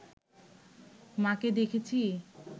মা’কে দেখেছি